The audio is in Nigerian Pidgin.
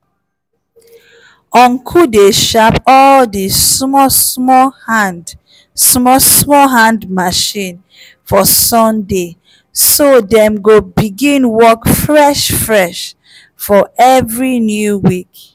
ncle dey sharp all the small small hand small small hand machine